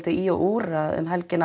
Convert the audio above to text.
í og úr um helgina